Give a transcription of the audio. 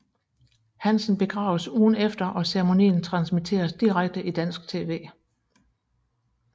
Hansen begraves ugen efter og ceromonien transmitteres direkte i dansk tv